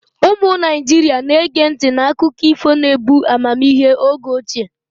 Ụmụ Naijiria na-ege ntị n'akụkọ ifo na-ebu amamihe oge ochie.